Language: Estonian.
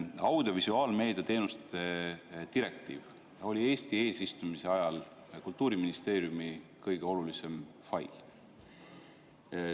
Audiovisuaalmeedia teenuste direktiiv oli Eesti eesistumise ajal Kultuuriministeeriumi kõige olulisem fail.